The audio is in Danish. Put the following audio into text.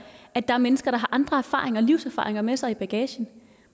at der er mennesker der har andre livserfaringer med sig i bagagen